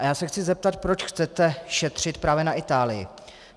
A já se chci zeptat, proč chcete šetřit právě na Itálii?